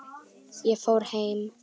Ég fór heim.